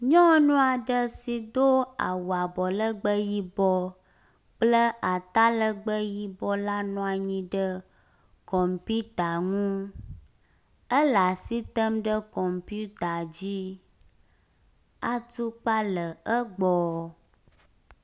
Nyɔnua ɖe si do awu abɔlegbe yibɔ kple atalegbe yibɔ la nɔ anyi ɖe kɔpita ŋu. ele as item ɖe kɔmpita dzi. Atukpa le egbɔ.